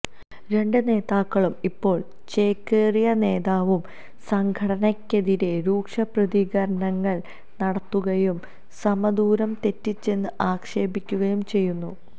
രണ്ട് നേതാക്കളും ഇപ്പോൾ ചേക്കേറിയ നേതാവും സംഘടനയ്ക്കെതിരെ രൂക്ഷപ്രതികരണങ്ങൾ നടത്തുകയും സമദൂരം തെറ്റിച്ചെന്ന് ആക്ഷേപിക്കുകയും ചെയ്യുന്നു